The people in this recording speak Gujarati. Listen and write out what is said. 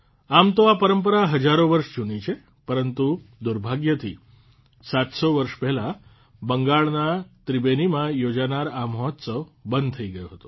આમ તો આ પરંપરા હજારો વર્ષ જૂની છે પરંતુ દુર્ભાગ્યથી ૭૦૦ વર્ષ પહેલાં બંગાળના ત્રિબેનીમાં યોજાનાર આ મહોત્સવ બંધ થઇ ગયો હતો